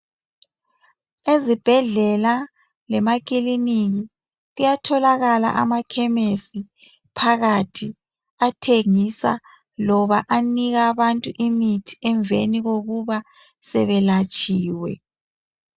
Ezibhendlela lemakilinika kuyatholakala amachemis phakathi atshengisa loba anika Abantu imithi emveni kokuba sebelatshiwe.